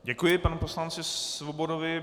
Děkuji panu poslanci Svobodovi.